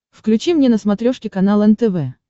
включи мне на смотрешке канал нтв